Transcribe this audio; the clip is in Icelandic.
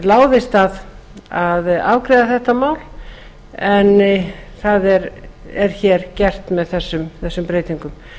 láðist að afgreiða þetta mál en það er hér gert með þessum breytingum